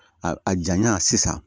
A a janya sisan